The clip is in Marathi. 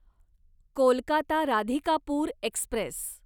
कोलकाता राधिकापूर एक्स्प्रेस